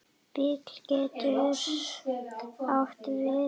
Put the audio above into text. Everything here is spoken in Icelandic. Bil getur átt við